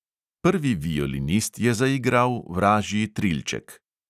Prvi violinist je zaigral vražji trilček.